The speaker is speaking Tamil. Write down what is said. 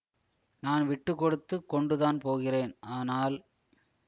நான் விட்டுக்கொடுத்துக் கொண்டுதான் போகிறேன் ஆனால்